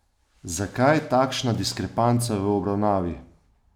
Zakaj takšna diskrepanca v obravnavi?